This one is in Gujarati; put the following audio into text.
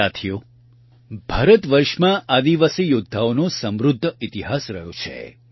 સાથીઓ ભારત વર્ષમાં આદિવાસી યોદ્ધાઓનો સમૃદ્ધ ઇતિહાસ રહ્યો છે